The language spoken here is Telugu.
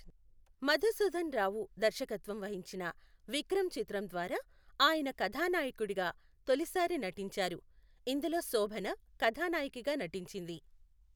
మధుసూదన్ రావు దర్శకత్వం వహించిన విక్రమ్ చిత్రం ద్వారా ఆయన కథానాయకుడిగా తొలిసారి నటించారు, ఇందులో శోభన కథానాయికగా నటించింది.